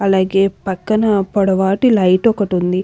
అలాగే పక్కన పొడవాటి లైట్ ఒకటి ఉంది.